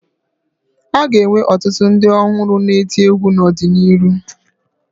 A ga-enwe ọtụtụ ndị ọhụrụ na-eti egwu n'ọdịnihu